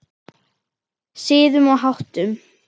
Siðum og háttum.